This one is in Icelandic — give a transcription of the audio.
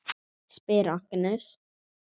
spyr Agnes.